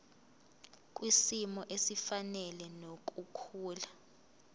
kwisimo esifanele nokukhula